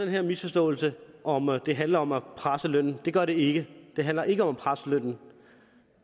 her misforståelse om at det handler om at presse lønnen det gør det ikke det handler ikke om at presse lønnen